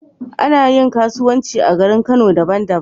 Anayin kasuwanci a garin kano daban daban